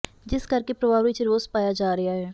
ਜਿਸ ਕਰਕੇ ਪਰਿਵਾਰ ਵਿਚ ਰੋਸ ਪਾਇਆ ਜਾ ਰਿਹਾ ਹੈ